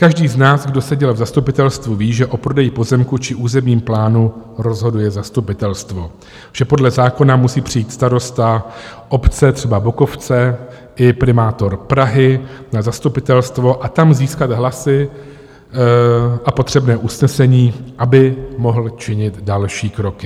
Každý z nás, kdo seděl v zastupitelstvu, ví, že o prodeji pozemku či územním plánu rozhoduje zastupitelstvo, že podle zákona musí přijít starosta obce třeba Bokovce i primátor Prahy na zastupitelstvo a tam získat hlasy a potřebné usnesení, aby mohl učinit další kroky.